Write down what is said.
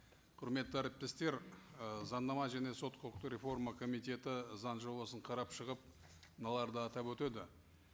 құрметті әріптестер ы заңнама және сот құқықтық реформа комитеті заң жобасын қарап шығып мыналарды атап өтеді